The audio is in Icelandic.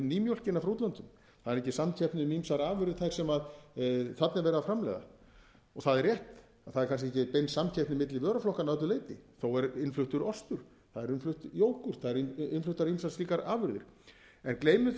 um nýmjólkina frá útlöndum það er engin samkeppni um ýmsar afurðir þær sem þarna er verið að framleiða það er rétt að það er kannski ekki bein samkeppni milli vöruflokkanna að öllu leyti þó er innfluttur ostur það er innflutt jógúrt það eru innfluttar ýmsar slíkar afurðir en gleymum